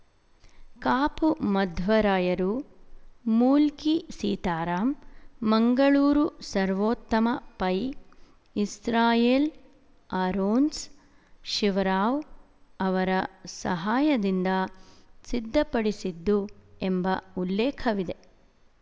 ಕಾಪು ಮಧ್ವರಾಯರು Mulki Sitaram Mangaluru Sarvottama Pai Israel Aarons Shivarao ಅವರ ಸಹಾಯದಿಂದ ಸಿದ್ಧಪಡಿಸಿದ್ದು ಎಂಬ ಉಲ್ಲೇಖವಿದೆ